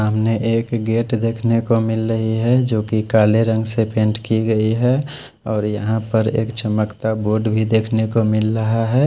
सामने एक गेट देख ने को मिल रहे है जो की काले रंग से पैंट की गयी है और यहाँ पर एक चमकता बोर्ड देख ने को मिल रहा है।